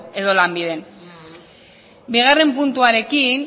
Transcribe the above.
edo lanbiden bigarren puntuarekin